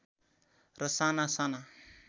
र साना साना